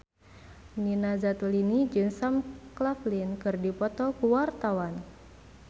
Nina Zatulini jeung Sam Claflin keur dipoto ku wartawan